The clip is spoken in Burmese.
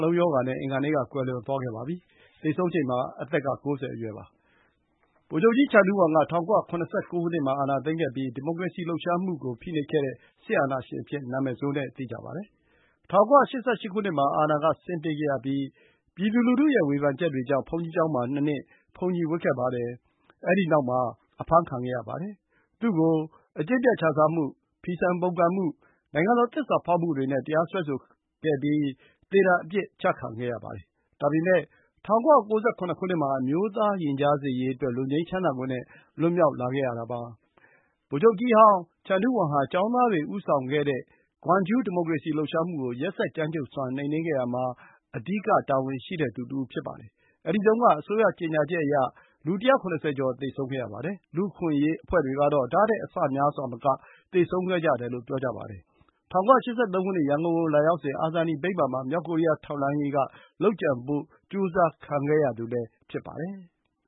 လုံးရောဂါနဲ့ အင်္ဂါနေ့က ကွယ်လွန်သွားခဲ့ပါပြီ။ သေဆုံးချိန်မှာ အသက်က ၉၀ အရွယ်ပါ။ ဗိုလ်ချုပ်ကြီး ချန်ဒူးဝမ်က ၁၉၇၉ မှာ အာဏာသိမ်းခဲ့ပြီး ဒီမိုကရေစီလှုပ်ရှားမှုကို ဖိနှိပ်ခဲ့တဲ့ စစ်အာဏာရှင်အဖြစ် နာမည်ဆိုးနဲ့ သိကြပါတယ်။ ၁၉၈၈ ခုနှစ်မှာ အာဏာကဆင်းပေးခဲ့ရပြီး ပြည်သူလူထုရဲ့ ဝေဖန်ချက်တွေကြောင့် ဘုန်းကြီးကျောင်းမှာ ၂ နှစ် ဘုန်းကြီးဝတ်ခဲ့ပါတယ်။ အဲဒီနောက်မှာ အဖမ်းခံခဲ့ရပါတယ်။ သူ့ကို အကျင့်ပျက်ခြစားမှု၊ ဖီဆန်ပုန်ကန်မှု၊ နိုင်ငံတော် သစ္စာဖော်မှုတွေနဲ့ တရားစွဲဆိုခဲ့ပြီး သေဒဏ် အပြစ်ချခံခဲ့ရပါတယ်။ ဒါပေမဲ့ ၁၉၉၇ မှာ အမျိုးသား ရင်ကြားစေ့ရေးအတွက် လွတ်ငြိမ်းသက်သာခွင့်နဲ့ လွတ်မြောက်လာခဲ့ရတာပါ။ ဗိုလ်ချုပ်ကြီးဟောင်းချန်ဒူးဝမ်ဟာ ကျောင်းသားတွေဦးဆောင်ခဲ့တဲ့ ဂွမ်ဂျူး ဒီမိုကရေစီ လှုပ်ရှားမှုကို ရက်စက်ကြမ်းကြုတ်စွာ နှိမ်နင်းခဲ့ရာမှာ အဓိက တာဝန်ရှိသူတဦးပါ။အဲဒီတုန်းက အစိုးရ ကြေညာချက်အရ လူ ၁၇၀ ကျော် သေဆုံးခဲ့ရပါတယ်။ လူ့အခွင့်အရေး အဖွဲ့တွေကတော့ ဒါ့ထက် အဆများစွာမက သေဆုံးခဲ့ကြတယ်လို့ ပြောကြပါတယ်။ ၁၉၈၃ ခုနှစ် ရန်ကုန်ကိုလာရောက်စဉ် အာဇာနည်ဗိမ္မာန်မှာ မြောက်ကိုရီးယား ထောက်လှမ်းရေးက လုပ်ကြံဖို့ ကြိုးစားခံခဲ့ရသူလည်း ဖြစ်ပါတယ်။